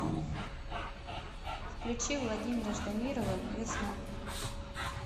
включи владимира ждамирова весна